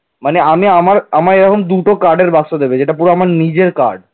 মানে আমি আমার আমার এরকম দুটো card র বাক্স দেবে এটা পুরো আমার নিজের card